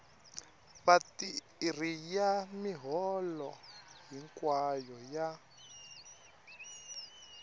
vatirhi ya miholo hinkwayo ya